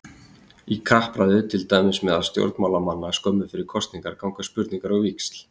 Í kappræðu, til dæmis meðal stjórnmálamanna skömmu fyrir kosningar, ganga spurningar á víxl.